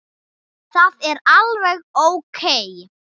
Það er alveg ókei.